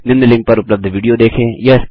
निम्न लिंक पर उपलब्ध विडियो देखें